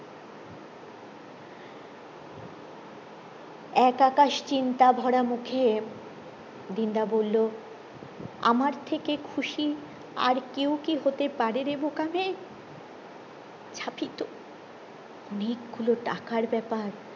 এক আকাশ চিন্তা ভরা মুখে দিন দা বললো আমার থেকে খুশি আর কেউ কি হতে পারে রে বোকা মে ছাপিত অনেক গুলো টাকার বেপার